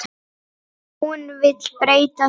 Hún vill breyta því.